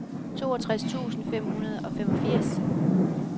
toogtres tusind fem hundrede og femogfirs